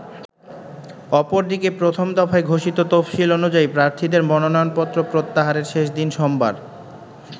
অপরদিকে, প্রথম দফায় ঘোষিত তফসিল অনুযায়ী প্রার্থীদের মনোনয়নপত্র প্রত্যাহারের শেষ দিন সোমবার।